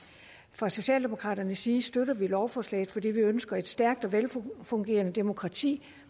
fra socialdemokraternes side støtter vi lovforslaget fordi vi ønsker et stærkt og velfungerende demokrati